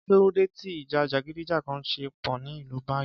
Kí ló dé ti ìjà jàgídíjàgan ṣe po ni ilú báyìí